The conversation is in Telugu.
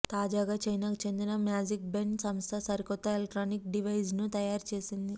తాజాగా చైనాకు చెందిన మ్యాజిక్ బెన్ సంస్థ సరికొత్త ఎలక్ట్రానిక్ డివైజ్ను తయారుచేసింది